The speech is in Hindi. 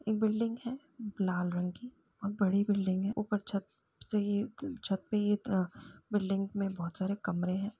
एक बिल्डिंग है लाल रंग कि है और बड़ी बिल्डिंग है ऊपर छत से ऊपर छत पे ही बिल्डिंग में बहुत सारे कमरे हैं ।